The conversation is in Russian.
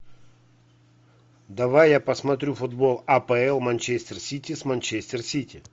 давай я посмотрю футбол апл манчестер сити с манчестер сити